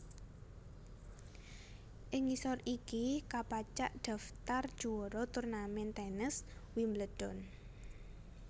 Ing ngisor iki kapacak daftar juwara turnamen tènes Wimbledon